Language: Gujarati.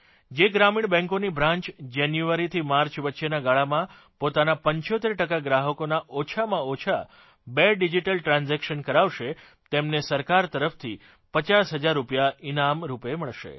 જે ગ્રામીણ બેંકોની બ્રાન્ચ જાન્યુઆરીથી માર્ચ વચ્ચેના ગાળામાં પોતાના 75 ટકા ગ્રાહકોના ઓછામાં ઓછા બે ડિજીટલ ટ્રાન્જેક્શન કરાવશે તેમને સરકાર તરફથી 50 હજાર રૂપિયા ઇનામ રૂપે મળશે